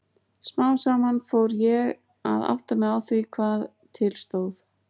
Smám saman fór ég að átta mig á því hvað til stóð.